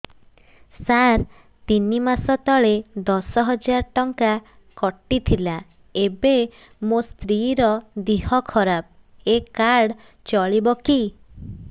ସାର ତିନି ମାସ ତଳେ ଦଶ ହଜାର ଟଙ୍କା କଟି ଥିଲା ଏବେ ମୋ ସ୍ତ୍ରୀ ର ଦିହ ଖରାପ ଏ କାର୍ଡ ଚଳିବକି